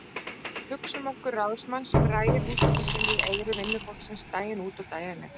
Hugsum okkur ráðsmann sem rægir húsbónda sinn í eyru vinnufólksins daginn út og daginn inn.